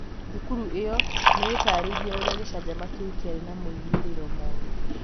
thukuru ĩyo nĩ ĩtaarĩirie ũrĩa gĩcanjama kĩu kĩarĩ na moimĩrĩro moru